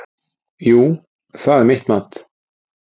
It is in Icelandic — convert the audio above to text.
Jú, það er mitt mat.